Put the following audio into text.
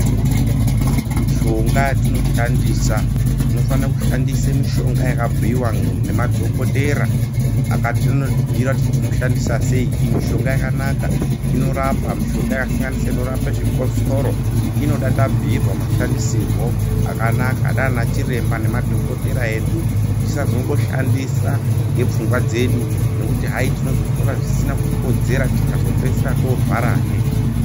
Mishonga yatinoshandisa tinofana kushandise mishonga yakabhiwa nemadhokotera akatonotibhira kuti tinoshandisa seyi iyi mishonga yakanaka inorapa mishokasansenura inorapa zvikosoro inoda tabhiyirwa mashandisirwo akanaka nana chiremba nemadhokotera edu tisazongoshandisa ngepfungwa dzedu nokuti hayi tinozotora zvisina kukodzera tikazopedzisira torwara he